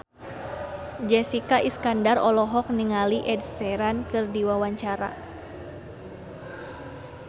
Jessica Iskandar olohok ningali Ed Sheeran keur diwawancara